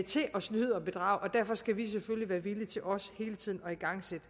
snyde og bedrage og derfor skal vi selvfølgelig være villige til også hele tiden at igangsætte